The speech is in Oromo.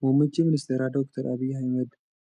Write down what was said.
Muummichi ministeeraa Doctor Abiy Ahmad,